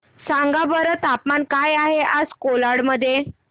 सांगा बरं तापमान काय आहे आज कोलाड मध्ये